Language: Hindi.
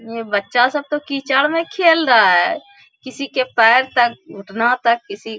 ये बच्चा सब तो कीचड़ में खेल रहा है किसी के पैर तक घुटना तक किसी --